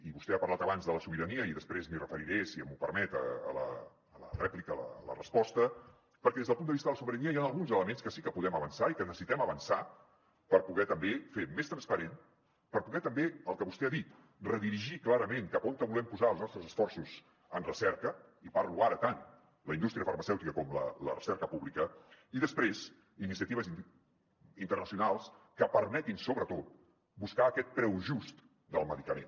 i vostè ha parlat abans de la sobirania i després m’hi referiré si m’ho permet a la rèplica a la resposta perquè des del punt de vista de la sobirania hi han alguns elements que sí que podem avançar i que necessitem avançar per poder també fer més transparent per poder també el que vostè ha dit redirigir clarament cap a on volem posar els nostres esforços en recerca i parlo ara tant de la indústria farmacèutica com de la recerca pública i després iniciatives internacionals que permetin sobretot buscar aquest preu just del medicament